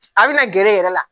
A bina gɛrɛ e yɛrɛ, e yɛrɛ la